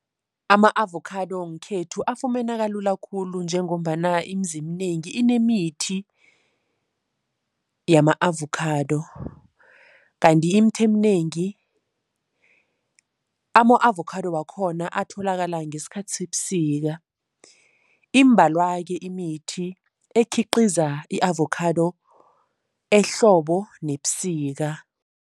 Ama-avokhado ngekhethu afumaneka lula khulu njengombana imizi eminengi inemithi yama-avokhado. Kanti imithi eminengi, ama-avokhado wakhona atholakala ngesikhathi sebusika. Imbalwa-ke imithi ekhiqiza i-avokhado ehlobo nebusika.